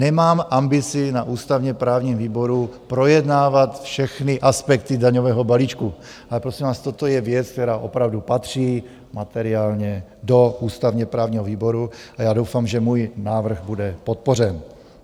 Nemám ambici na ústavně-právním výboru projednávat všechny aspekty daňového balíčku, ale prosím vás, toto je věc, která opravdu patří materiálně do ústavně-právního výboru a já doufám, že můj návrh bude podpořen.